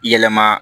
Yɛlɛma